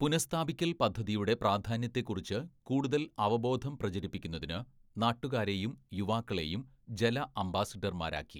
"പുനഃസ്ഥാപിക്കല്‍ പദ്ധതിയുടെ പ്രാധാന്യത്തെക്കുറിച്ച് കൂടുതല്‍ അവബോധം പ്രചരിപ്പിക്കുന്നതിന് നാട്ടുകാരെയും യുവാക്കളെയും ജല അംബാസഡര്‍മാരാക്കി. "